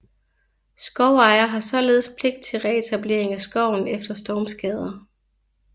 Skovejer har således pligt til retablering af skoven efter stormskader